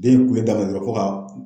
Den in kun be ta ga gɛrɛ fɔ ka